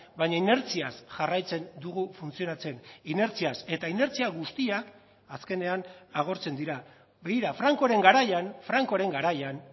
baina inertziaz jarraitzen dugu funtzionatzen inertziaz eta inertzia guztiak azkenean agortzen dira begira francoren garaian francoren garaian